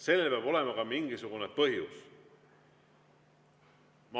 Sellel peab olema ka mingisugune põhjus.